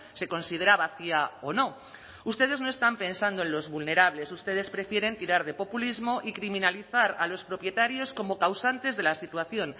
se considera vacía o no ustedes no están pensando en los vulnerables ustedes prefieren tirar de populismo y criminalizar a los propietarios como causantes de la situación